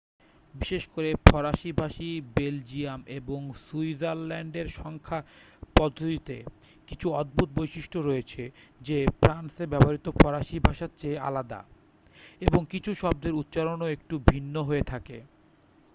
বিশেষ করে ফরাসী ভাষী বেলজিয়াম এবং সুইজারল্যান্ডের সংখ্যা পদ্ধতিতে কিছু অদ্ভুত বৈশিষ্ট্য রয়েছে যে ফ্রান্সে ব্যবহৃত ফরাসী ভাষার চেয়ে আলাদা এবং কিছু শব্দের উচ্চারণও একটু ভিন্ন হয়ে থাকে